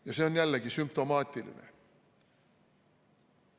Ja see on jällegi sümptomaatiline.